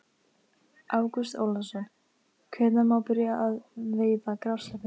Ágúst Ólafsson: Hvenær má byrja að veiða grásleppu?